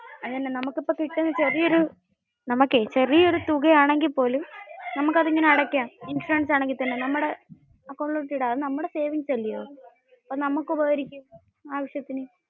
നമുക്ക് ഇപ്പോ കിട്ടുന്ന ചെറിയ ഒരു തുക ആണെങ്കിൽ പോലും, നമ്മുക്ക് അത് ഇങ്ങനെ അടയ്കാൻ. ഇൻഷുറൻസ് ആണെങ്കിൽ തന്നെ. നമ്മുടെ അക്കൗണ്ടിലോട്ടു ഇടം. അത് നമ്മുടെ സേവിങ്സ് അല്ലെ.